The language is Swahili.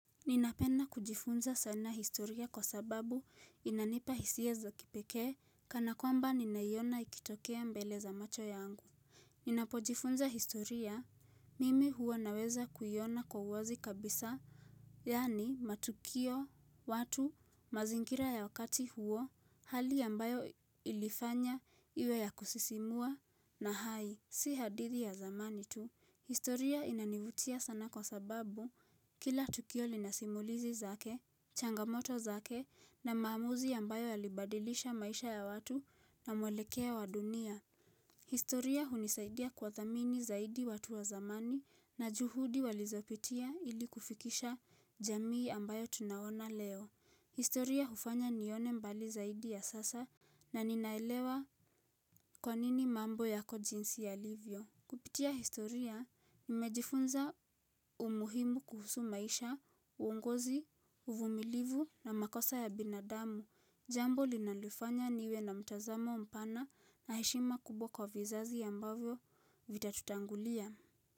Ninapenda kujifunza sana historia kwa sababu inanipa hisia za kipekee kana kwamba ninaiona ikitokea mbele za macho yangu. Ninapojifunza historia, mimi huwa naweza kuiona kwa uwazi kabisa, yani matukio, watu, mazingira ya wakati huo, hali ambayo ilifanya iwe ya kusisimua na hai. Si hadithi ya zamani tu, historia inanivutia sana kwa sababu kila tukio lina simulizi zake, changamoto zake na maamuzi ambayo yalibadilisha maisha ya watu na mwelekeo wa dunia. Historia hunisaidia kuwathamini zaidi watu wa zamani na juhudi walizopitia ilikufikisha jamii ambayo tunaona leo. Historia hufanya nione mbali zaidi ya sasa na ninaelewa kwa nini mambo yako jinsi yalivyo. Kupitia historia, nimejifunza umuhimu kuhusu maisha, uongozi, uvumilivu na makosa ya binadamu, jambo linalofanya niwe na mtazamo mpana na heshima kubwa kwa vizazi ambavyo vitatutangulia.